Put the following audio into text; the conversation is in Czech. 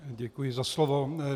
Děkuji za slovo.